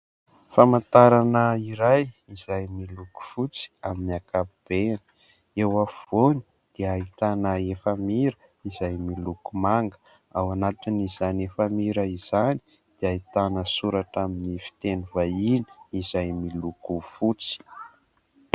Famantarana iray izay miloko fotsy amin'ny ankapobeny. Eo afovoany dia ahitana efamira izay miloko manga. Ao anatin'izany efamira izany dia ahitana soratra amin'ny fiteny vahiny izay miloko fotsy.